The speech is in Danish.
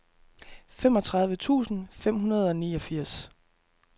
femogtredive tusind fem hundrede og niogfirs